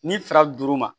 N'i sera duuru ma